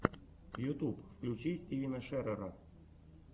ютуб включи стивена шерера